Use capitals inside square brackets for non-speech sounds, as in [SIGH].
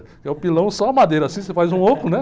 É o pilão, só a madeira assim, [LAUGHS] você faz um oco, né?